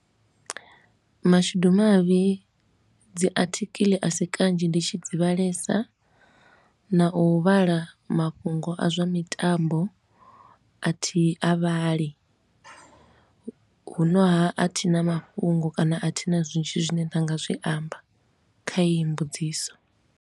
Mashudu mavhi dzi athikili a si kanzhi ndi tshi dzi vhalesa na u vhala mafhungo a zwa mitambo a thi a vhali. Hu no ha, a thi na mafhungo kana a thina zwinzhi zwine nda nga zwi amba kha iyi mbudziso.